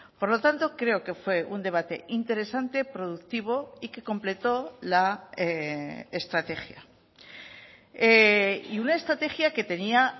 por lo tanto creo que fue un debate interesante productivo y que completo la estrategia y una estrategia que tenía